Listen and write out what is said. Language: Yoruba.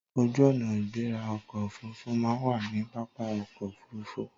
Ojú ọ̀nà ìgbéra ọkọ̀ Òfurufú máa ń wà ní pápá ọkọ̀ Òfurufú.